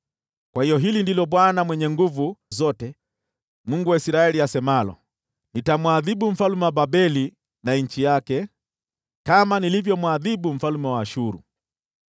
Kwa hiyo hili ndilo Bwana Mwenye Nguvu Zote, Mungu wa Israeli, asemalo: “Nitamwadhibu mfalme wa Babeli na nchi yake kama nilivyomwadhibu mfalme wa Ashuru.